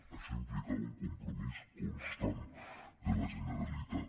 això implicava un compromís constant de la generalitat